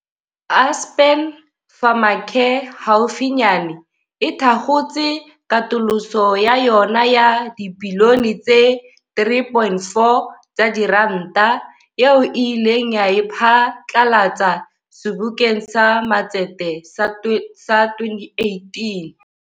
Aspen Pharmacare haufinyane e thakgotse katoloso ya yona ya dibilione tse 3.4 tsa diranta, eo e ileng ya e pha tlalatsa Sebokeng sa Matsete sa 2018.